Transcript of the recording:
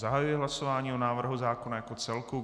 Zahajuji hlasování o návrhu zákona jako celku.